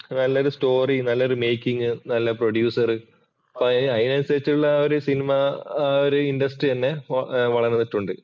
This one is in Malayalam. നല്ലൊരു സ്റ്റോറി, നല്ലൊരു മേക്കിംഗ്, നല്ല പ്രൊഡ്യൂസർ അതിനനുസരിച്ചുള്ള ഒരുസിനിമ ഇൻഡസ്ട്രി തന്നെ വളർന്നിട്ടുണ്ട്.